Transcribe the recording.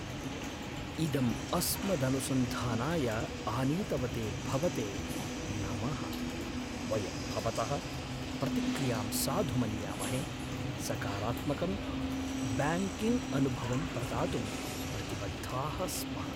इदम् अस्मदनुसन्धानाय आनीतवते भवते नमः, वयं भवतः प्रतिक्रियां साधु मन्यामहे, सकारात्मकं ब्याङ्किङ्ग्अनुभवं प्रदातुं प्रतिबद्धाः स्मः।